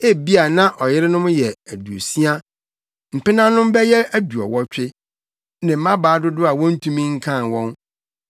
Ebia na ɔyerenom yɛ aduosia, mpenanom bɛyɛ aduɔwɔtwe, ne mmabaa dodow a wontumi nkan wɔn;